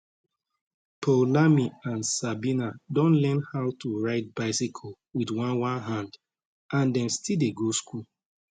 poulami and sabina don learn how to ride bicycle wit one one hand and dem still dey go school